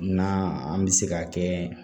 Na an bɛ se ka kɛ